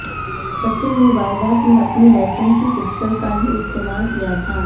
सचिन ने वारदात में अपनी लाइसेंसी पिस्टल का ही इस्तेमाल किया था